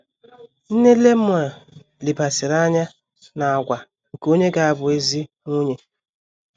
Nne Lemuel lebaziri anya n’àgwà nke onye ga - abụ ezi nwunye.